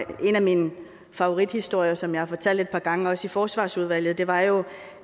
en af mine favorithistorier som jeg har fortalt et par gange også i forsvarsudvalget var jo